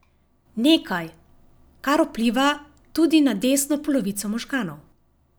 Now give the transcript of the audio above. Nekaj, kar vpliva tudi na desno polovico možganov.